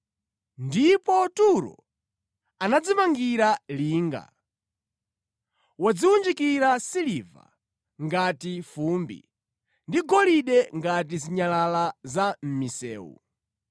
Ndipo Turo anadzimangira linga; wadziwunjikira siliva ngati fumbi, ndi golide ngati zinyalala za mʼmisewu.